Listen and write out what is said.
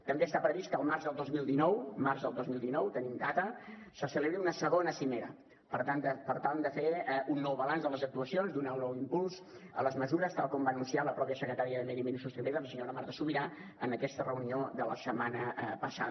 també està previst que el març del dos mil dinou març del dos mil dinou tenim data se celebri una segona cimera per tal de fer un nou balanç de les actuacions i donar un nou impuls a les mesures tal com va anunciar la mateixa secretària de medi ambient i sostenibilitat la senyora marta subirà en aquesta reunió de la setmana passada